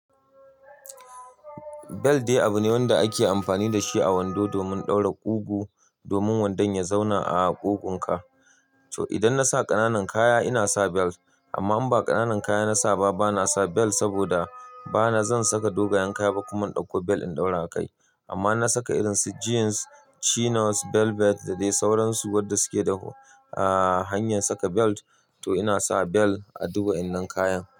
Belt dai abu ne wanda ake amfani da shi a wando domin ɗaura ƙugu domin wandon ya zauna a ƙugunka. To idan na sa ƙananan kaya ina sa belt, amma in ba ƙananan kaya na sa ba bana sa belt saboda bana zan saka dogayen kaya ba kuma in ɗauko belt in ɗaura kai. Amma na saka irin su jeans, chinos, velvet da dai sauransu wadda suke da hanyar saka belt to ina sa belt a duk waɗannan kayan.